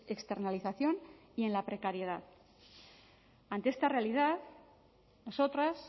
externalización y en la precariedad ante esta realidad nosotras